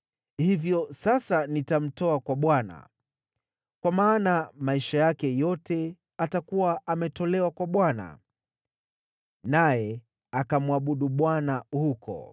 Hivyo sasa ninamtoa kwa Bwana . Kwa maana maisha yake yote atakuwa ametolewa kwa Bwana .” Naye akamwabudu Bwana huko.